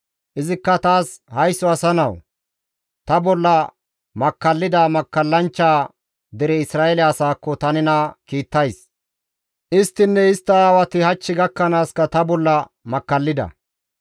Izikka taas, «Haysso asa nawu! Ta bolla makkallida makkallanchcha dere Isra7eele asaakko ta nena kiittays; isttinne istta aawati hach gakkanaaska ta bolla makkallida.